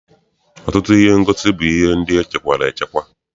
Ọtụtụ ihe ngosi bụ ihe ndị echekwara echekwa.